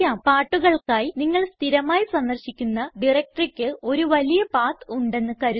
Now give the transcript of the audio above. പാട്ടുകൾക്കായി നിങ്ങൾ സ്ഥിരമായി സന്ദർശിക്കുന്ന directoryയ്ക്ക് ഒരു വലിയ പത്ത് ഉണ്ടെന്ന് കരുതുക